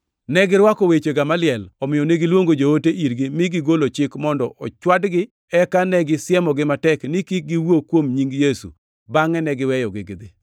Negirwako weche Gamaliel, omiyo negiluongo joote irgi mi gigolo chik mondo ochwadgi. Eka negisiemogi matek ni kik giwuo kuom nying Yesu, bangʼe ne giweyogi gidhi.